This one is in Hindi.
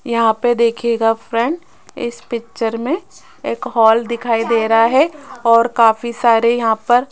यहां पे देखियेगा फ्रेंड इस पिक्चर मे एक हॉल दिखाई दे रहा है और काफी सारे यहां पर --